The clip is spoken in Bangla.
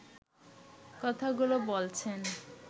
কথাগুলো বলছেন